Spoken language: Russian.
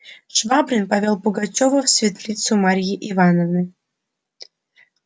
швабрин повёл пугачёва в светлицу марьи ивановны